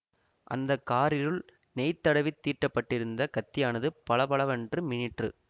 அந்த காரிருல் நெய் தடவி தீட்டப்பட்டிருந்த கத்தியானது பளபளவென்று மின்னிற்று